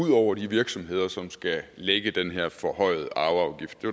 ud over de virksomheder som skal lægge den her forhøjede arveafgift det